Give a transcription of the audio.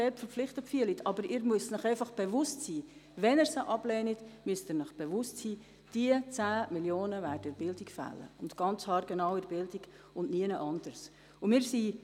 Allerdings müssen Sie sich bewusst sein, dass diese 10 Mio. Franken dann in der Bildung fehlen, und zwar haargenau in der Bildung und nirgendwo sonst.